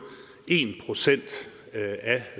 procent af